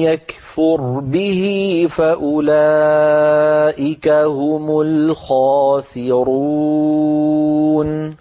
يَكْفُرْ بِهِ فَأُولَٰئِكَ هُمُ الْخَاسِرُونَ